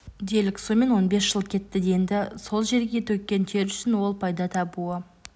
делік сомен он быс жыл кетті енді сол жерге төккен тері үшін ол пайда табуы